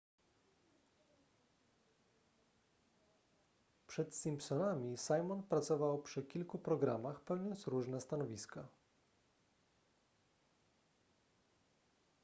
przed simpsonami simon pracował przy kilku programach pełniąc różne stanowiska